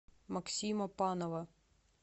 максима панова